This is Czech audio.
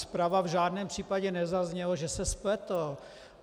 Zprava v žádném případě nezaznělo, že se spletl.